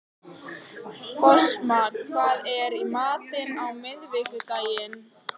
Fossmar, hvað er í matinn á miðvikudaginn?